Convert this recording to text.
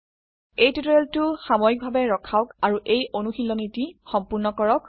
এই টিউটোৰিয়েলটি সাময়িকভাবে ৰখাওক আৰু এই অনুশীলনীটি সম্পূৰ্ণ কৰক